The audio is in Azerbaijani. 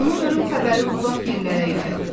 Onun ölüm xəbəri uzaq yerlərə yayıldı.